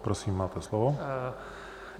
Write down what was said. Prosím, máte slovo.